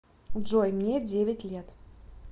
джой мне девять лет